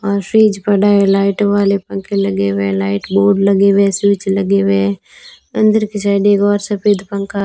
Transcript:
अ fridge पड़ा है light वाले पंखे लगे हुए हैं लाइट बोर्ड लगे हुए हैं स्विच लगे हुए हैं अंदर की साइड एक और सफेद पंखा --